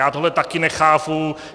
Já tohle taky nechápu.